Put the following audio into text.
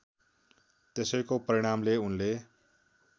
त्यसैको परिणामले उनले